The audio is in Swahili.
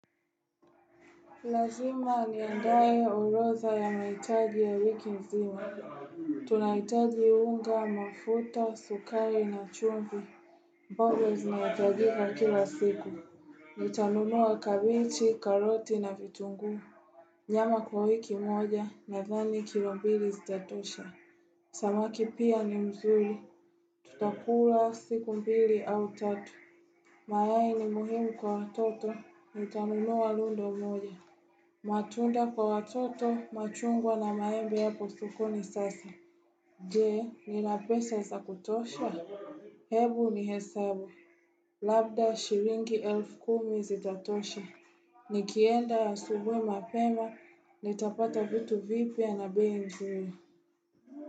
Lazima niandaye oroza ya mahitaji ya wiki mzima. Tunaitaji unga, mafuta, sukari na chumvi. Boga zinahitajika kila siku. Nitanunua kabichi, karoti na vitunguu. Nyama kwa wiki moja na dhani kilombili zitatosha. Samaki pia ni mzuri. Tutakula siku mbili au tatu. Mayai ni muhimu kwa watoto. Nitanunua lundo moja. Matunda kwa watoto machungwa na maembe yap soko ni sasa. Je, ninapesa za kutosha? Hebu ni hesabu. Labda shiringi elf kumi zitatosha. Ni kienda asubuhi mapema ni tapata vitu vipya na bei nzuri.